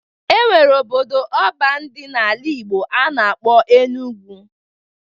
E nwere obodo ọban dị n'ala Igbo a na-akpọ Enugwu